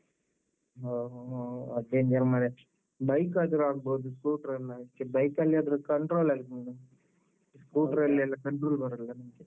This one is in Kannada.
ಹೊ ಹೊ ಹೊ. ಅದು danger ಮಾರ್ರೆ. bike ಆದ್ರು ಆಗ್ಬೋದು scooter ಅಲ್ಲ . bike ಅಲ್ಲಿಯಾದ್ರೆ control ಆಗ್ತದೆ. scooter ಅಲ್ಲೆಲ್ಲ. control ಬರೋದಿಲ್ಲ ನಮ್ಗೆ.